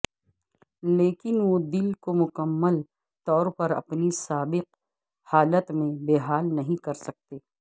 لیکن وہ دل کو مکمل طور پر اپنی سابق حالت میں بحال نہیں کرسکتے